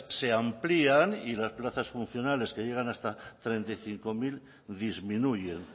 se amplían y las plazas funcionales que llegan hasta treinta y cinco mil disminuyen